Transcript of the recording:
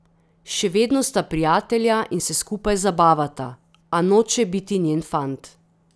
Še vedno sta prijatelja in se skupaj zabavata, a noče biti njen fant.